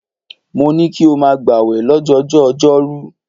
Mo ní kí o máa gbàwẹ̀ lọ́jọjọ́ọ ọjọ́rú.